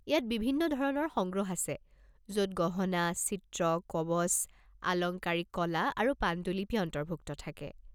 ইয়াত বিভিন্ন ধৰণৰ সংগ্ৰহ আছে য'ত গহনা, চিত্ৰ, কৱচ, আলংকাৰিক কলা আৰু পাণ্ডুলিপি অন্তৰ্ভুক্ত থাকে।